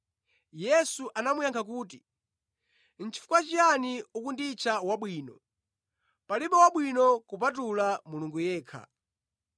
Yesu anamuyankha kuti, “Chifukwa chiyani ukunditcha wabwino, palibe wabwino kupatula Mulungu yekha.